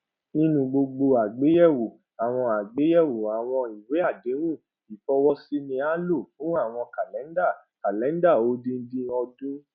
nínu gbogbo àgbéyewò àwọn àgbéyewò àwọn ìwéàdéhùn ìfowósí ni a lò fún àwọn kàlendà calendar odindin ọdún